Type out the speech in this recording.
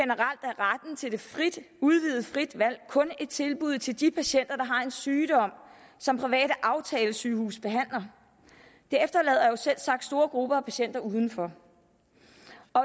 udvidede frie valg kun et tilbud til de patienter har en sygdom som private aftalesygehuse behandler det efterlader selvsagt store grupper af patienter udenfor